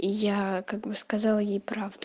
я как бы сказала ей правду